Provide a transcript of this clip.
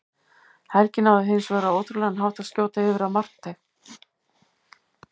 Helgi náði hins vegar á ótrúlegan hátt að skjóta yfir af markteig.